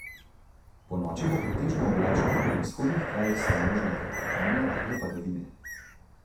Ponoči bo pretežno oblačno, v vzhodnih krajih so možne kratkotrajne rahle padavine.